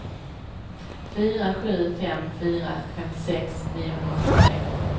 fyra sju fem fyra femtiosex niohundraåttiotre